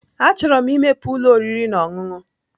Achọrọ m imepe ụlọ oriri na ọṅụṅụ.